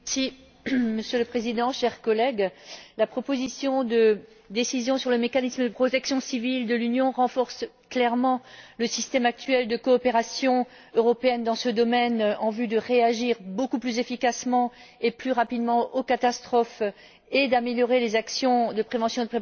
Monsieur le Président, chers collègues, la proposition de décision sur le mécanisme de protection civile de l'Union renforce clairement le système actuel de coopération européenne dans ce domaine, en vue de réagir beaucoup plus efficacement et plus rapidement aux catastrophes et d'améliorer les actions de prévention et de préparation.